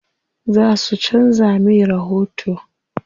Za su canza me rahoto.